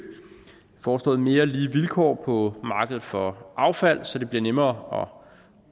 foreslået mere lige vilkår på markedet for affald så det bliver nemmere